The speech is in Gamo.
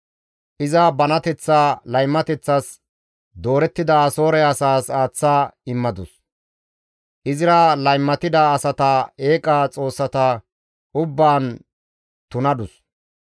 Iza banateththa laymateththas doorettida Asoore asaas aaththa immadus. Izira laymatida asata eeqaa xoossata ubbaan tunadus.